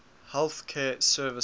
health care services